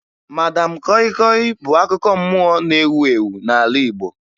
Madam kọyị kọyị bụ akụkọ mmụọ na-ewu ewu n'ala Igbo